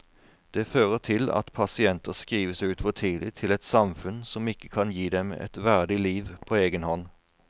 Det fører til at pasienter skrives ut for tidlig til et samfunn som ikke kan gi dem et verdig liv på egen hånd.